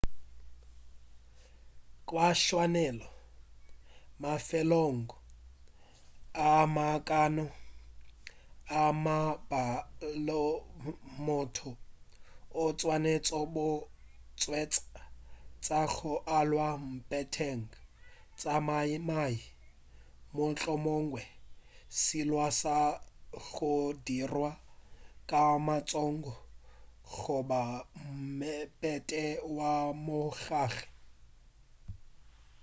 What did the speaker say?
ka tshwanelo mafelong a makaone a mabjalo motho o swanetše go hwetša tša go alwa mpheteng tša mabaibai mohlomongwe sealwa sa go dirwa ka matsogo goba mephete wa mohlakgale